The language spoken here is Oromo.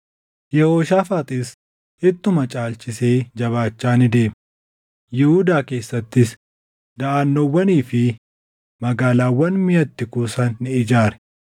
Yehooshaafaaxis ittuma caalchisee jabaachaa ni deeme; Yihuudaa keessattis daʼannoowwanii fi magaalaawwan miʼa itti kuusan ni ijaare;